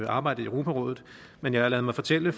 arbejdet i europarådet men jeg har ladet mig fortælle